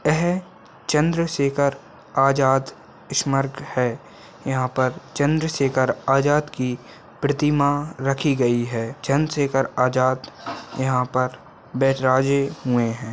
एह चंद्रशेखर आजाद स्मारक है यहाँ पर चंद्रशेखर आजाद की प्रतिमा रखी गयी है चंद्रशेखर आजाद यहाँ पर बिराजे हुए हैं।